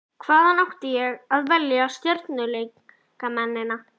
Hvaðan átti ég að velja stjörnuleikmennina?